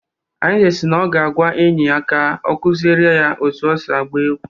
Arinze si na ọ ga-agwa enyi ya ka ọ kuziere ya ka esi agba egwu